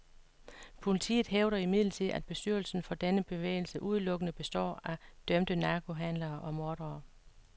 Politiet hævder imidlertid, at bestyrelsen for denne bevægelse udelukkende består af dømte narkohandlere og mordere.